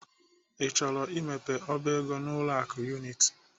I chọrọ imepe ọba ego n'ụlọ akụ Unity?